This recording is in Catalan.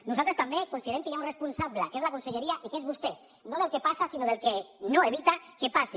nosaltres també considerem que hi ha un responsable que és la conselleria i que és vostè no del que passa sinó del que no evita que passi